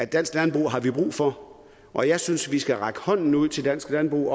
dansk landbrug har vi brug for og jeg synes vi skal række hånden ud til dansk landbrug